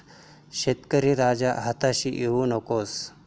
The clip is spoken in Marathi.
शेतकरी राजा, हताश होऊ नकोस...